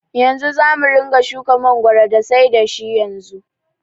Yanzu zamu ringa shuka mangoro da sai da shi yanzu.